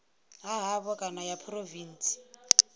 ha havho kana ya phurovintsi